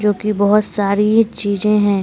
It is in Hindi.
जो कि बहुत सारी ये चीजें हैं।